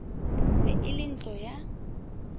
be e le ntlo ya